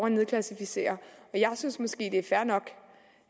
at nedklassificere jeg synes måske nok at det er fair nok